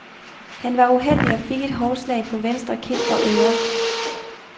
Han var uheldig og fik et hårdt slag på venstre kind og øre.